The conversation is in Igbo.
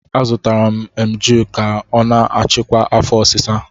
Azụtara m Emgyl ya ka ọ na-achịkwa afo osisa